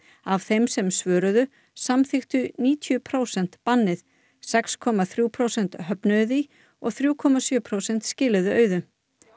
af þeim sem svöruðu samþykktu níutíu prósent bannið sex komma þrjú prósent höfnuðu því og þrjú komma sjö prósent skiluðu auðu